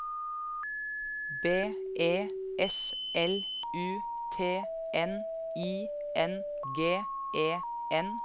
B E S L U T N I N G E N